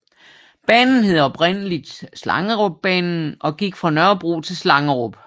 Banen hed oprindeligt Slangerupbanen og gik fra Nørrebro til Slangerup